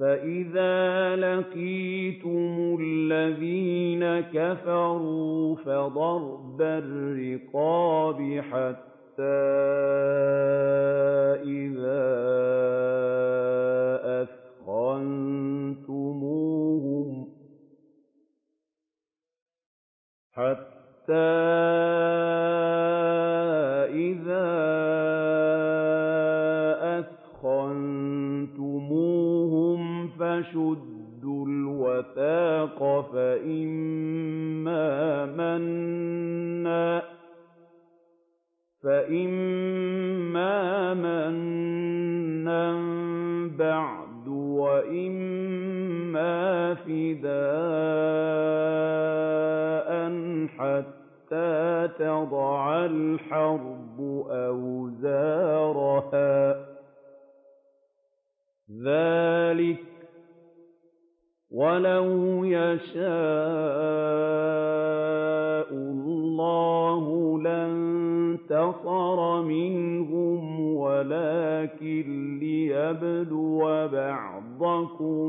فَإِذَا لَقِيتُمُ الَّذِينَ كَفَرُوا فَضَرْبَ الرِّقَابِ حَتَّىٰ إِذَا أَثْخَنتُمُوهُمْ فَشُدُّوا الْوَثَاقَ فَإِمَّا مَنًّا بَعْدُ وَإِمَّا فِدَاءً حَتَّىٰ تَضَعَ الْحَرْبُ أَوْزَارَهَا ۚ ذَٰلِكَ وَلَوْ يَشَاءُ اللَّهُ لَانتَصَرَ مِنْهُمْ وَلَٰكِن لِّيَبْلُوَ بَعْضَكُم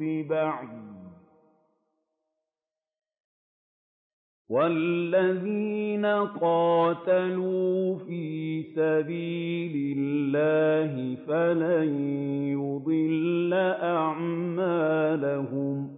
بِبَعْضٍ ۗ وَالَّذِينَ قُتِلُوا فِي سَبِيلِ اللَّهِ فَلَن يُضِلَّ أَعْمَالَهُمْ